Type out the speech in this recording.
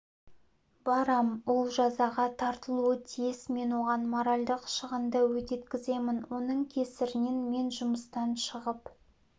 барам ол жазаға тартылуы тиіс мен оған моральдық шығынды өтеткіземін оның кесірінен мен жұмыстан шығып